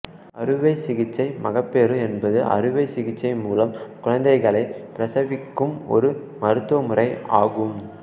அறுவைசிகிச்சை மகப்பேறு என்பது அறுவை சிகிச்சை மூலம் குழந்தைகளை பிரசவிக்கும் ஒரு மருத்துவ முறை ஆகும்